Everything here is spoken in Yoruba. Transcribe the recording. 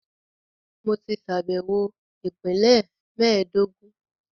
Mo ti ṣàbẹ̀wọ̀ Ìpínlẹ̀ mẹ́ẹ̀dógún